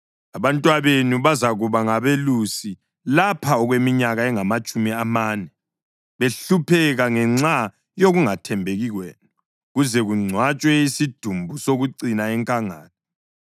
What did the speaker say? Abantwabenu bazakuba ngabelusi lapha okweminyaka engamatshumi amane, behlupheka ngenxa yokungathembeki kwenu, kuze kungcwatshwe isidumbu sokucina enkangala.